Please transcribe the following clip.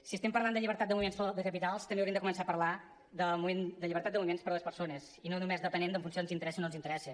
si estem parlant de llibertat de moviment de capitals també hauríem de començar a parlar de llibertat de moviment per a les persones i no només depenent en funció de si ens interessa o no ens interessa